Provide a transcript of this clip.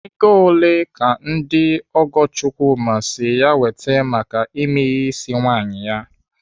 Ego ole ka ndị ọgọ Chukwuma si ya wete maka ime ihe ịsị nwaanyị ya?